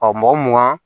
mɔgɔ mun